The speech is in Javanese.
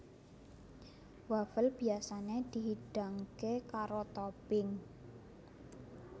Wafel biyasané dihidangké karo topping